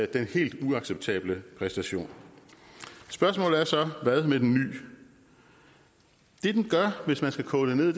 den helt uacceptable præstation spørgsmålet er så hvad med den ny det den gør hvis man skal koge det ned